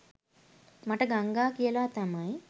මට ගංගා කියලා තමයි